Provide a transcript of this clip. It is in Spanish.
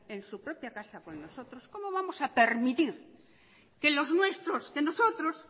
en su propia casa con nosotros cómo vamos a permitir que los nuestros que nosotros